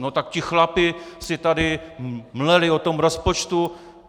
No tak ti chlapi si tady mleli o tom rozpočtu...